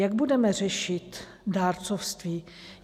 Jak budeme řešit dárcovství?